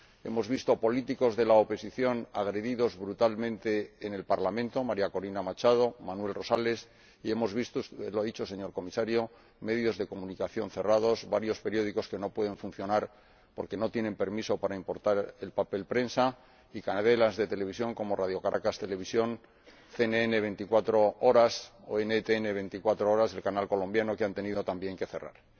hemos visto políticos de la oposición agredidos brutalmente en el Parlamento —María Corina Machado, Manuel Rosales— y hemos visto —usted lo ha dicho, señor Comisario—, medios de comunicación cerrados, varios periódicos que no pueden funcionar porque no tienen permiso para importar el papel prensa, y cadenas de televisión —como Radio Caracas Televisión, CNN 24 horas o NTN 24 horas, el canal colombiano— que han tenido también que cerrar.